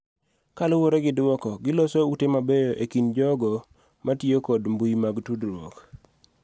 Kaluwore gi dwoko, giloso ute mabeyo e kind jogo ma tiyo kod mbui mag tudruok,